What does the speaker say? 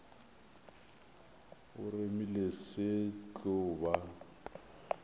o remile se tlo ba